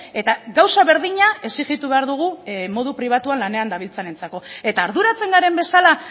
eta gauza berdina exijitu behar dugu modu pribatuan lanean dabiltzanentzako eta arduratzen garen bezala